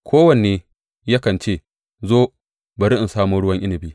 Kowanne yakan ce, Zo, bari in samo ruwan inabi!